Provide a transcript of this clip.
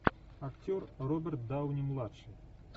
актер роберт дауни младший